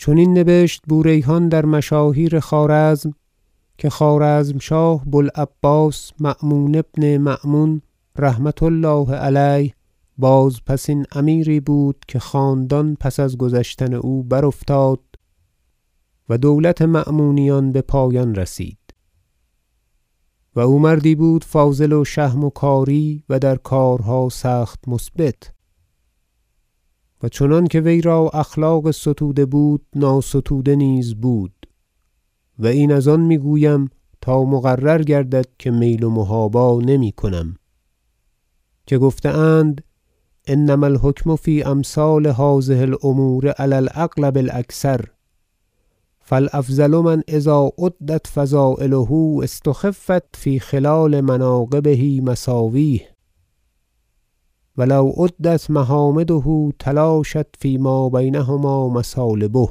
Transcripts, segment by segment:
چنین نبشت بو ریحان در مشاهیر خوارزم که خوارزمشاه بو العباس مأمون بن مأمون رحمة الله علیه بازپسین امیری بود که خاندان پس از گذشتن او برافتاد و دولت مأمونیان بپایان رسید و او مردی بود فاضل و شهم و کاری و در کارها سخت مثبت و چنانکه وی را اخلاق ستوده بود ناستوده نیز بود و این از آن میگویم تا مقرر گردد که میل و محابا نمیکنم که گفته اند انما الحکم فی امثال هذه الأمور علی الاغلب الأکثر فالأفضل من اذا عدت فضایله استخفت فی خلال مناقبه مساویه و لو عدت محامده تلاشت فیما بینهما مثالبه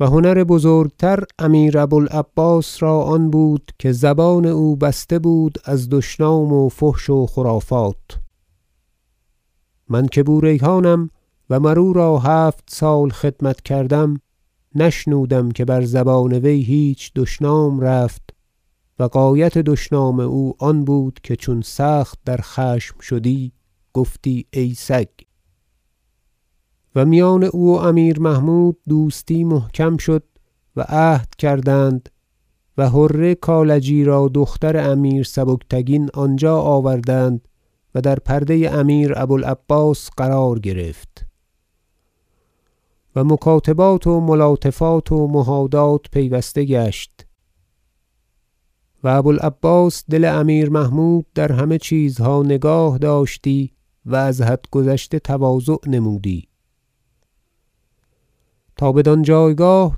و هنر بزرگتر امیر ابو العباس را آن بود که زبان او بسته بود از دشنام و فحش و خرافات من که بو ریحانم و مر او را هفت سال خدمت کردم نشنودم که بر زبان وی هیچ دشنام رفت و غایت دشنام او آن بود که چون سخت در خشم شدی گفتی ای سگ و میان او و امیر محمود دوستی محکم شد و عهد کردند و حره کالجی را دختر امیر سبکتگین آنجا آوردند و در پرده امیر ابو العباس قرار گرفت و مکاتبات و ملاطفات و مهادات پیوسته گشت و ابو العباس دل امیر محمود در همه چیزها نگاه داشتی و از حد گذشته تواضع نمودی تا بدان جایگاه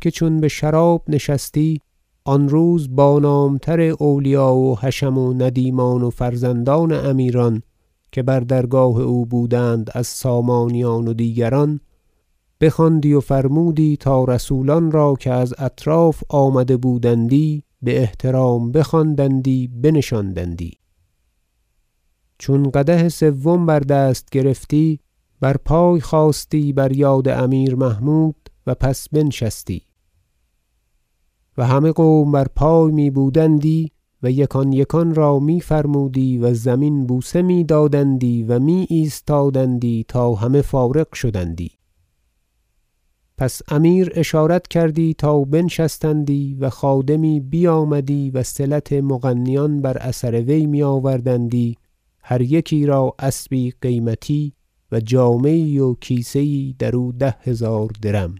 که چون بشراب نشستی آنروز با نامتر اولیا و حشم و ندیمان و فرزندان امیران که بر درگاه او بودند از سامانیان و دیگران بخواندی و فرمودی تا رسولان را که از اطراف آمده بودندی باحترام بخواندندی بنشاندندی چون قدح سوم بدست گرفتی بر پای خاستی بر یاد امیر محمود و پس بنشستی و همه قوم بر پای میبودندی و یکان یکان را میفرمودی و زمین بوسه میدادندی و می ایستادندی تا همه فارغ شدندی پس امیر اشارت کردی تا بنشستندی و خادمی بیامدی وصلت مغنیان بر اثر وی میآوردندی هر یکی را اسبی قیمتی و جامه یی و کیسه یی درو ده هزار درم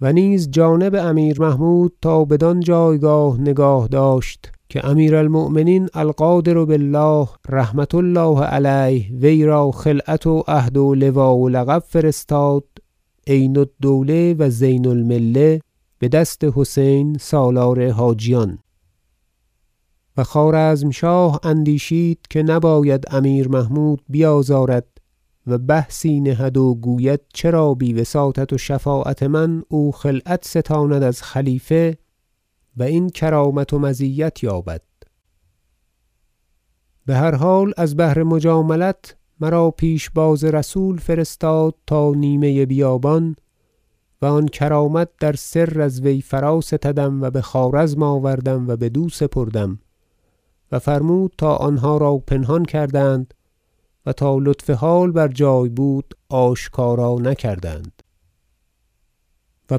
و نیز جانب امیر محمود تا بدان جایگاه نگاه داشت که امیر المؤمنین القادر بالله رحمة الله علیه ویرا خلعت و عهد و لوا و لقب فرستاد عین الدوله و زین المله بدست حسین سالار حاجیان و خوارزمشاه اندیشید که نباید امیر محمود بیازارد و بحثی نهد و گوید چرا بی وساطت و شفاعت من او خلعت ستاند از خلیفت و این کرامت و مزیت یابد بهر حال از بهر مجاملت مرا پیشباز رسول فرستاد تا نیمه بیابان و آن کرامت در سر از وی فراستدم و بخوارزم آوردم و بدو سپردم و فرمود تا آنها را پنهان کردند و تا لطف حال بر جای بود آشکار نکردند و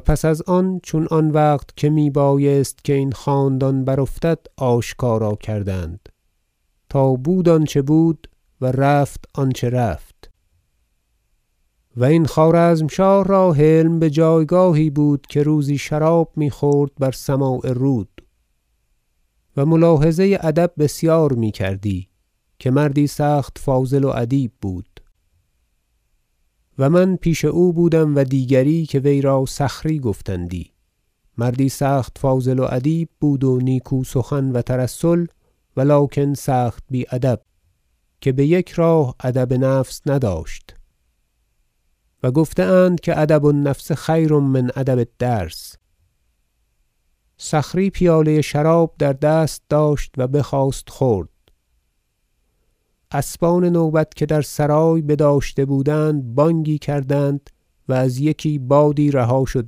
پس از آن چون آن وقت که میبایست که این خاندان برافتد آشکارا کردند تا بود آنچه بود و رفت آنچه رفت و این خوارزمشاه را حلم بجایگاهی بود که روزی شراب میخورد بر سماع رود - و ملاحظه ادب بسیار میکردی که مردی سخت فاضل و ادیب بود- و من پیش او بودم و دیگری که ویرا صخری گفتندی مردی سخت فاضل و ادیب بود و نیکو سخن و ترسل و لکن سخت بی ادب که بیک راه ادب نفس نداشت و گفته اند که ادب- النفس خیر من ادب الدرس صخری پیاله شراب در دست داشت و بخواست خورد اسبان نوبت که در سرای بداشته بودند بانگی کردند و از یکی بادی رها شد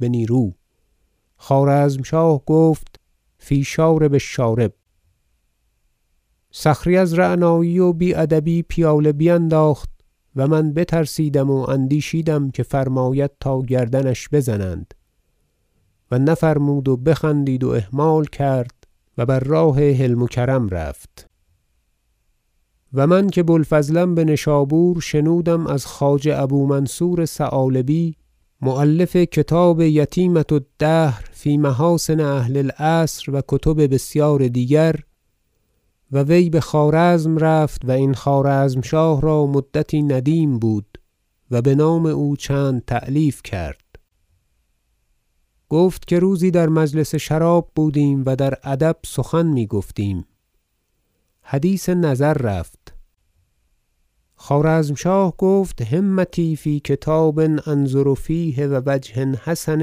بنیرو خوارزمشاه گفت فی شارب الشارب صخری از رعنایی و بی ادبی پیاله بینداخت و من بترسیدم و اندیشیدم که فرماید تا گردنش بزنند و نفرمود و بخندید و اهمال کرد و بر راه حلم و کرم رفت و من که بو الفضلم بنشابور شنودم از خواجه ابو منصور ثعالبی مؤلف کتاب یتیمة الدهر فی محاسن اهل العصر و کتب بسیار دیگر و وی بخوارزم رفت و این خوارزمشاه را مدتی ندیم بود و بنام او چند تألیف کرد گفت که روزی در مجلس شراب بودیم و در ادب سخن میگفتیم حدیث نظر رفت خوارزمشاه گفت همتی فی کتاب أنظر فیه و وجه حسن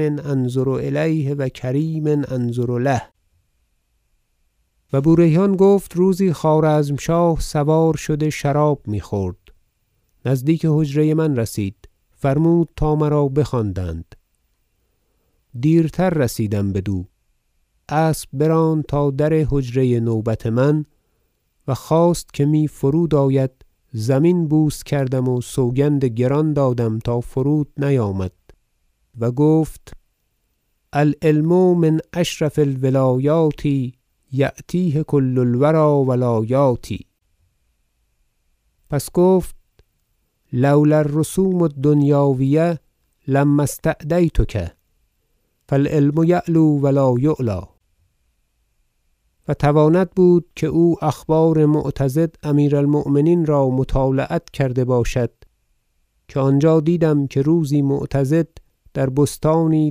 انظر الیه و کریم أنظر له و بو ریحان گفت روزی خوارزمشاه سوار شده شراب میخورد نزدیک حجره من رسید فرمود تا مرا بخواندند دیرتر رسیدم بدو اسب براند تا در حجره نوبت من و خواست که می فرود آید زمین بوس کردم و سوگند گران دادم تا فرود نیامد و گفت العلم من اشرف الولایات یأتیه کل الوری و لا یأتی پس گفت لو لا الرسوم الدنیاویة لما استدعیتک فالعلم یعلو و لا یعلی و تواند بود که او اخبار معتضد امیر المؤمنین را مطالعت کرده باشد که آنجا دیدم که روزی معتضد در بستانی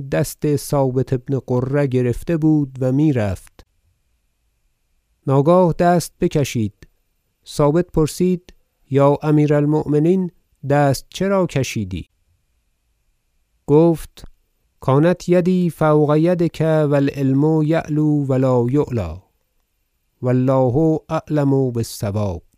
دست ثابت بن قره گرفته بود و میرفت ناگاه دست بکشید ثابت پرسید یا امیر المؤمنین دست چرا کشیدی گفت کانت یدی فوق یدک و العلم یعلو و لا یعلی و الله اعلم بالصواب